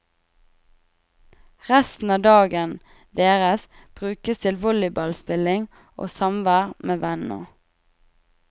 Resten av dagen deres brukes til volleyballspilling og samvær med venner.